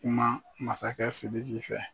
Kuma masakɛ Sidiki fɛ.